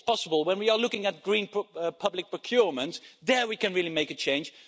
It's possible when we are looking at green public procurement there we can really make a change.